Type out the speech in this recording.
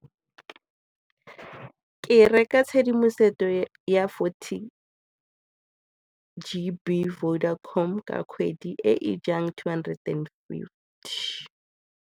Ke reka tshedimosetso ya forty G_B Vodacom ka kgwedi e e jang two hundred and fifty.